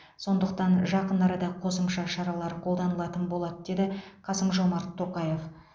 сондықтан жақын арада қосымша шаралар қолданылатын болады деді қасым жомарт тоқаев